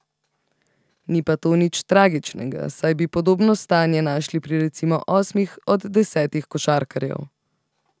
Ni pa to nič tragičnega, saj bi podobno stanje našli pri recimo osmih od desetih košarkarjev.